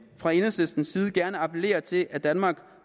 fra enhedslistens side gerne appellere til at danmark